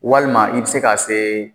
Walima i bɛ se ka se